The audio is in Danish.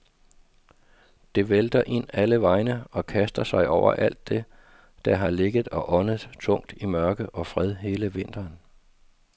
Det vælter ind alle vegne og kaster sig over alt det, der har ligget og åndet tungt i mørke og fred hele vinteren.